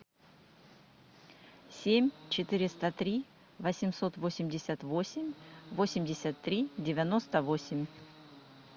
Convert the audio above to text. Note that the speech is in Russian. семь четыреста три восемьсот восемьдесят восемь восемьдесят три девяносто восемь